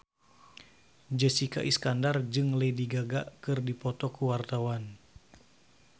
Jessica Iskandar jeung Lady Gaga keur dipoto ku wartawan